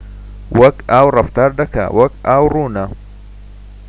وەکو ئاو ڕەفتار دەکات وەکو ئاو ڕوونە